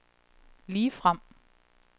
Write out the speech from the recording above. ligefrem